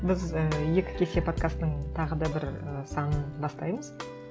біз і екі кесе подкастының тағы да бір і санын бастаймыз